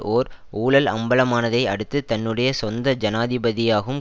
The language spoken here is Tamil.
ஓர் ஊழல் அம்பலமானதை அடுத்து தன்னுடைய சொந்த ஜனாதிபதியாகும்